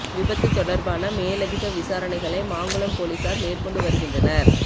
விபத்துத் தொடர்பான மேலதிக விசாரணைகளை மாங்குளம் போலீசார் மேற்கொண்டு வருகின்றனர்